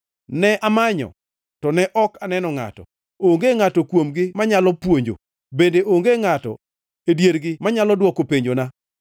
Ne amanyo to ok aneno ngʼato, onge ngʼato kuomgi manyalo puonjo, bende onge ngʼato e diergi manyalo dwoko penjona.